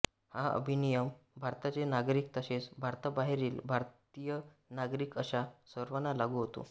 हा अधिनियम भारताचे नागरिक तसेच भारताबाहेरील भारतीय नागरिक अशा सर्वांना लागू होतो